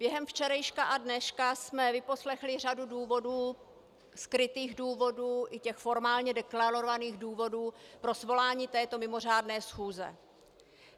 Během včerejška a dneška jsme vyposlechli řadu důvodů, skrytých důvodů i těch formálně deklarovaných důvodů pro svolání této mimořádné schůze.